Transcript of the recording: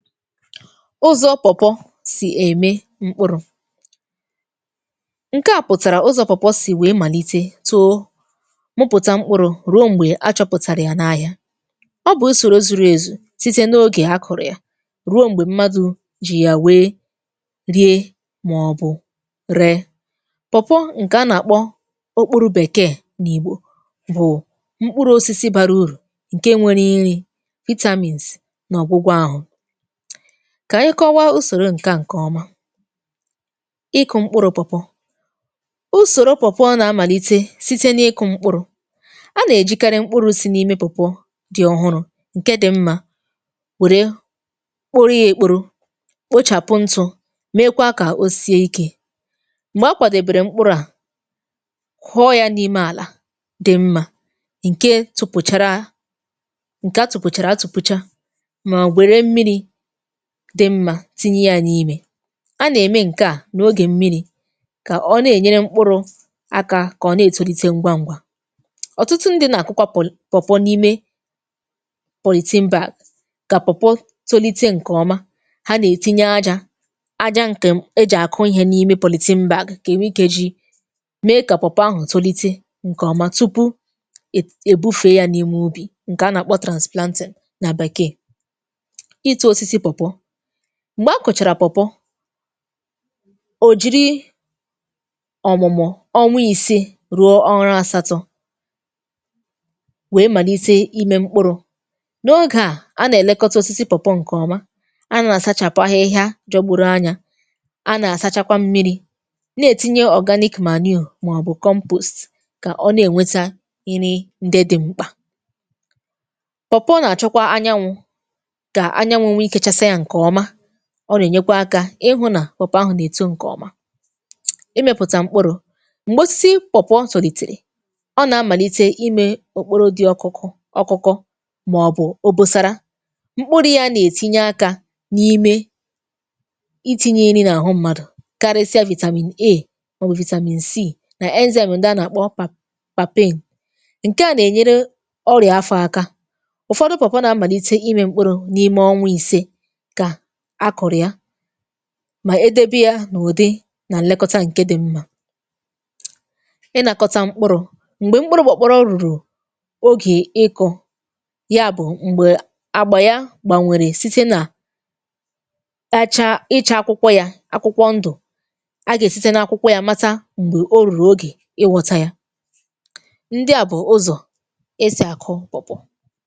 Ụzọ̇ pawpaw sì ème mkpụrụ̇; ǹke à pụ̀tàrà ụzọ̇ pawpaw sì wèe màlite toó, mụpụ̀tà mkpụrụ̇ rụo m̀gbè achọ̇pụ̀tàrà yà n’ahịa. Ọ bụ̀ usòro zùrù èzù sịte n’ogè a kụ̀rụ̀ ya, rụo m̀gbè mmadụ̇ jị yà wèe rie màọbụ̇ ree. pawpaw ǹkè a nà-àkpọ okpụrụ̀ bèkeè n’ìgbò, bụ̀ mkpụrụ̇ osisi bara urụ ǹke nwere nrị, vitamins na ọgwụgwọ àhụ. Kà anyị kọwaa usòrò ǹkè a nke ọma ;ịkụ̀ mkpụrụ̇ pawpaw. Usòrò pawpaw nà-amàlite sịte n’ịkụ̇ mkpụrụ̇, a nà-èjikarị mkpụrụ̇ sị n’ịme [pawpaw] di ọ̀hụrụ̇ ǹke di mmȧ wère kporo yȧ èkporo, kpochàpụ ntụ̇ mekwa kà o sie ikė. Mgbè a kwàdèbèrè mkpụrụ̇ à, kuọ yȧ n’ime àlà di mmȧ ǹke tụpụchara ǹke atụ̀pụ̀chàrà atụ̀pụ̀cha, mà wère mmiri di mmȧ tinye ya n’ịmė. A nà-ème ǹke a n’ogè mmiri̇, kà ọ na-ènyere mkpụrụ̇ aka kà ọ na-ètòlite ngwa ngwa. Ọtụtụ ndị̇ nà-àkụkwa pawpaw n’ịme polythene bag kà pawpaw tolité ǹkè ọma, hȧ nà-ètinye ajȧ ajȧ ǹkè ejì àkụ ihe n’ịme polythene bag, kà ènwe ikė ji mee kà pawpaw ahụ̀ tolité ǹkè ọ̀ma, túpụ̀ è èbufe yȧ n’ịme ụbị ǹkè a nà-àkpọ transplanting nà bekee. Ịtụ osisi pawpaw, m̀gbè akụ̀chàrà pawpaw ò jiri ọ̀mụ̀mụ̀ ọnwa ìse rụo ọnwá asatọ̇, wèe màlite imė mkpụrụ̇. N’ogè a, a nà-èlekọta ósịsị pawpaw ǹkè ọma, a nà-àsachàpụ̀ ahịhịa jọgbụrụ anya, a nà-àsachakwa mmiri̇ nà-ètinye organic manure màọbụ̀ compost, kà ọ nà-ènweta nri ǹdị di mkpà. Pawpaw na achọkwa anyanwụ, ka anyanwụ nwe ike chasá yà nke ọma. Ọ nà-ènyekwa akȧ ịhụ̇ nà pawpaw ahụ̀ nà-èto ǹkèọma. Imepụ̀tà mkpụrụ̇; m̀gbè osisi pawpaw tòlìtere, ọ nà-amàlite imė okporo di ọkụkụ ọkụkụ, màọbụ̀ obosara. Mkpụrụ yȧ nà-ètinye akȧ n’ime iti̇nyė iri nà àhụ mmadụ̀, karịsịa vitamin A, màọbụ̀ vitamin C nà enzyme ǹdị a nà-àkpọ pap papain. Nke à nà-ènyere ọrìa afọ̇ aka. Ụfọdụ pawpaw nà-amàlite imė mkpụrụ̇ n’ime ọnwa ìse ka akụrụ ya, mà e dẹbẹ yȧ nà ụ̀dị nà nlekọta ǹke di mmȧ. Ị nàkọta mkpụrụ̇; m̀gbè mkpụrụ̇ pawpaw rụ̀rụ̀ ogè ịkụ̇, ya bụ̀ m̀gbè àgbà ya gbànwèrè site nà echà icha akwụkwọ yà, akwụkwọ ndụ̀, agà èsite n’akwụkwọ ya mata m̀gbè o rùrù ogè ị ghọ́ta ya. Ndị à bụ̀ ụzọ̀ esi akụ pawpaw.